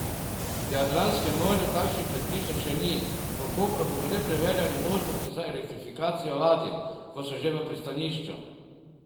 V Jadranskem morju takšnih predpisov še ni, v Kopru bodo le preverjali možnosti za elektrifikacijo ladij, ko so že v pristanišču.